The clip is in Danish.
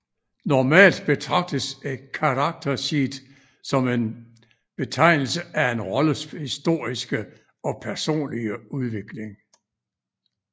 Normalt betragtes et character sheet som en optegnelse af en rolles historiske og personlige udvikling